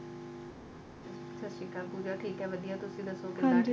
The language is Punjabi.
ਸਤਿ ਸ਼੍ਰੀ ਅਕਾਲ ਪੂਜਾ ਠੀਕ ਏ ਵਧੀਆ ਤੁਸੀਂ ਦਸੋ ਕਿੱਦਾਂ ਠੀਕ ਓ